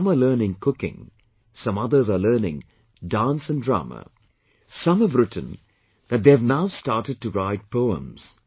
Some are learning cooking, some others are learning dance and drama ; Some have written that they have now started to write poems